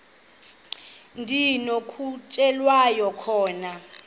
ndi nokutyhilelwa khona